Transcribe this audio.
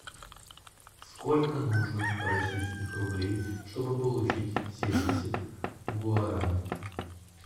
сколько нужно российских рублей чтобы получить семьдесят гуарани